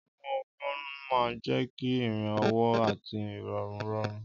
Ọwọ́ ọwọ́ máa ń jẹ́ kí ìrìn ọwọ́ àti ìrọ̀rùn rọrùn.